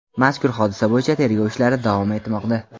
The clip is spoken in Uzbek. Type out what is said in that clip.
Mazkur hodisa bo‘yicha tergov ishlari davom etmoqda.